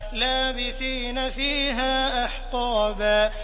لَّابِثِينَ فِيهَا أَحْقَابًا